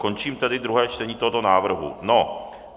Končím tedy druhé čtení tohoto návrhu.